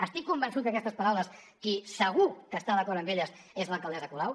estic convençut que aquestes paraules qui segur que està d’acord amb elles és l’alcaldessa colau